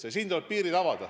Ja neile tuleb piirid avada.